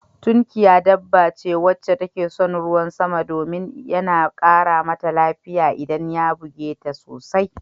Tunkiya dabba ce wacce take son ruwan sama domin yana ƙara Mata lafiya idan ya buge ta sosai